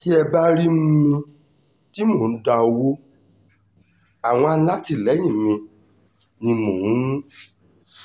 tẹ́ ẹ bá rí um mi tí mo dá owó àwọn alátìlẹyìn mi ni mò um ń fún